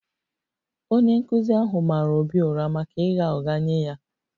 Onye nkụzi ahụ mara Obi ụra maka ịgha ụgha nye ya